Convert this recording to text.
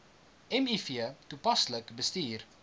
miv toepaslik bestuur